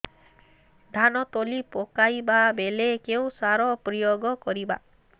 ଧାନ ତଳି ପକାଇବା ବେଳେ କେଉଁ ସାର ପ୍ରୟୋଗ କରିବା